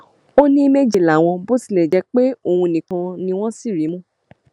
ó ní méje làwọn bó tilẹ jẹ pé òun nìkan ni wọn sì rí mú